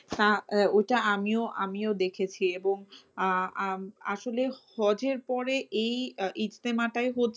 ওইটা আমিও আমিও দেখেছি এবং আহ আসলে হজের পরে এই ইস্তেমাটাই হচ্ছে